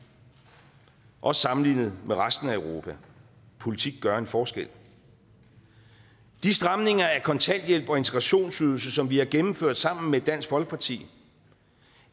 også sammenlignet med resten af europa politik gør en forskel de stramninger af kontanthjælp og integrationsydelse som vi har gennemført sammen med dansk folkeparti